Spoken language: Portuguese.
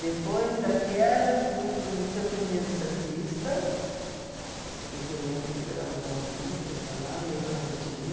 Depois daquela eu fui para o Liceu Feminino Santista, e que eu lembro que eu pegava o bondinho para ir para lá, eu e a Rutinha.